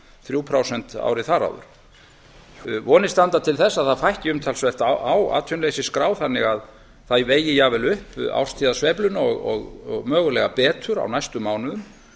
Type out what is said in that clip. þrjú prósent árið þar áður vonir standa til þess að það fækki umtalsvert á atvinnuleysisskrá þannig að það vegi jafnvel upp árstíðasveifluna og mögulega betur á næstu mánuðum